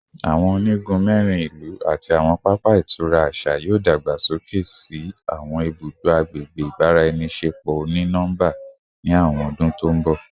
Awọn onigun mẹrin ilu ati awọn papa itura aṣa yoo dagbasoke si awọn ibudo agbegbe ibaraenisepo oni nọmba ni awọn ọdun to nbọ